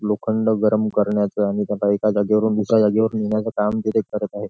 लोखंड गरम करण्याच आणि त्याला एका जागेवरून दुसऱ्या जागेवर नेण्याचे काम तिथे करत आहे.